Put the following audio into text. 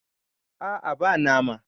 a a ba nama